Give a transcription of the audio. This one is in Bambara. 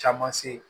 Caman se